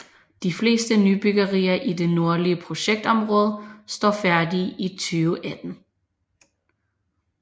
De fleste nybyggerier i det nordlige projektområde står færdige i 2018